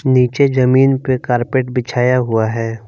नीचे जमीन पे कारपेट बिछाया हुआ है।